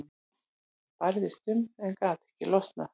Hann barðist um en gat ekki losnað.